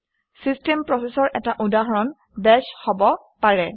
system প্ৰচেচৰ এটা উদাহৰণ বাশ হব পাৰে